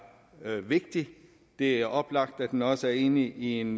vigtig det er oplagt at den også er inde i en